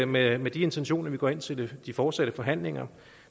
med med de intentioner vi går ind til de fortsatte forhandlinger